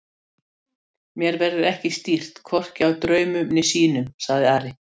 Mér verður ekki stýrt hvorki af draumum né sýnum, sagði Ari.